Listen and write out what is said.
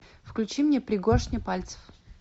включи мне пригоршня пальцев